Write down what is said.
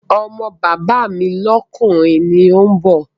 Ọmọ bàbá mi lọ́kùnrin ni òun bọ̀